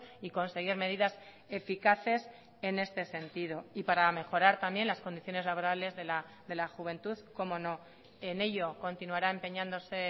y conseguir medidas eficaces en este sentido y para mejorar también las condiciones laborales de la juventud cómo no en ello continuará empeñándose